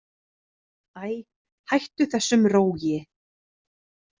Æ, hættu þessum rógi.